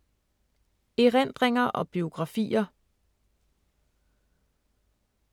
Erindringer og biografier